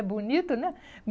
É bonito, né?